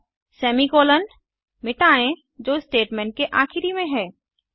अब semi colon मिटाएँ जो स्टेटमेंट के आखिरी में है